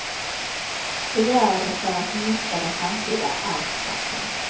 De gör det för att minska den framtida arvsskatten.